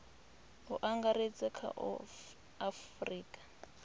u angaredza kha a afurika